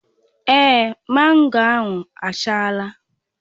Èé, mango ahụ achala.